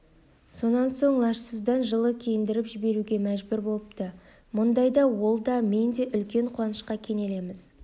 сонан соң лажсыздан жылы киіндіріп жіберуге мәжбүр болыпты мұндайда ол да мен де үлкен қуанышқа кенелеміз